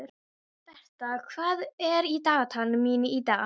Ég sveiflast upp og niður, út og suður.